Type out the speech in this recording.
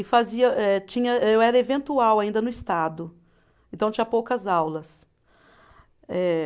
E fazia eh, tinha eh, eu era eventual ainda no Estado, então tinha poucas aulas. Eh